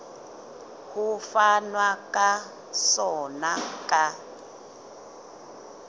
ho fanwa ka sona ka